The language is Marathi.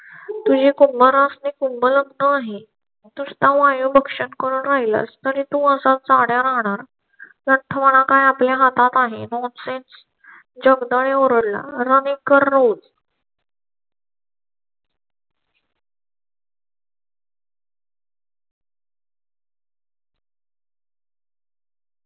तुझी कुंभ रस आणि कुंभ रत्ना आहे तू सुद्धा वायू पक्षात राहिलास म्हणजे तू असाच चंद्या राहणार आपल्या हातात आहे nonsense जगदाळे ओरडला running कर